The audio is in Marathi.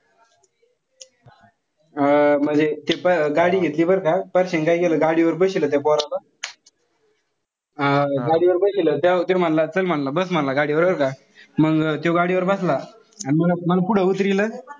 अं म्हणजे ते गाडी घेतली बरं का. पारश्याने काय केलं गाडी वर बशिवलं त्या पोराला. अं गाडीवर बशिवलं. त्याला म्हणलं चल म्हणलं बस म्हणलं गाडीवर बरं का. मंग त्यो गाडीवर बसला. अन मंग मला पुढे उतरिवलं.